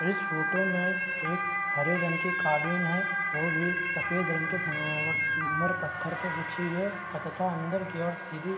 इस फोटो में एक हरे रंग की कालीन है वो भी सफ़ेद रंग के संगमरमर मर पत्थर पे बिछी हुई है अततह अंदर की ओर सीधी --